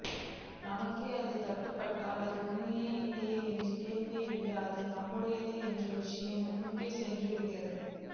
நமக்கே அது தட்டுபட்டால் அது உண்மையா இல்லையா என்ற கேள்வியை விட அது நம்முடையது என்ற விஷயம் முன்னுக்குச் சென்றுவிடுகிறது